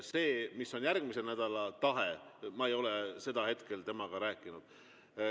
Sellest, mis on järgmise nädala tahe, ma ei ole temaga rääkinud.